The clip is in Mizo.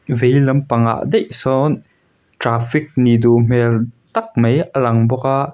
veilam pang ah daih sawn traffic nih duh hmel tak mai a lang bawk a.